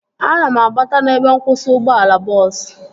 Ana m agbata n'ebe nkwụsị ụgbọala bọọsu